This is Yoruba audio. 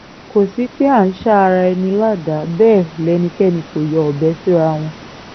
kò sí pé à ń sa ara ẹni ládàá bẹ́ẹ̀ lẹ́nikẹ́ni kò yọ ọbẹ̀ síra wọn